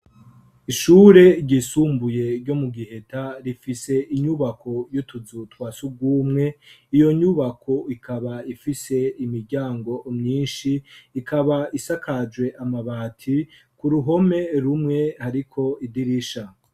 Ishure ryisumbuye ryo mu giheta rifise inyubako yo tuzu twasi ugumwe iyo nyubako ikaba ifise imiryango mwinshi ikaba isakajwe amabati ku ruhome rumwe, ariko idirisha.